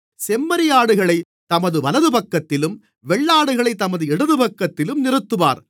செம்மறியாடுகளைத் தமது வலதுபக்கத்திலும் வெள்ளாடுகளைத் தமது இடதுபக்கத்திலும் நிறுத்துவார்